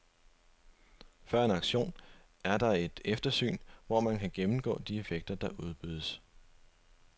Før en auktion er der et eftersyn, hvor man kan gennemgå de effekter, der udbydes.